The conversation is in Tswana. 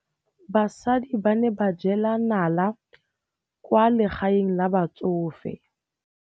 Basadi ba ne ba jela nala kwaa legaeng la batsofe.